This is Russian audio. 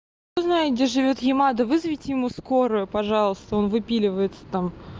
кто знает где живёт ямада вызовите ему скорую пожалуйста он выпиливается там